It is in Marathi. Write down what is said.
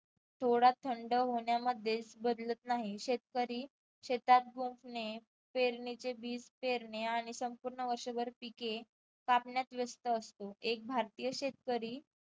थोडा थंड होण्यामध्ये बदलत नाही शेतकरी शेतात पेरणीचे बीज पेरणे आणि संपूर्ण वर्षभर पिके कापण्यात व्यस्त असतो. एक भारतीय शेतकरी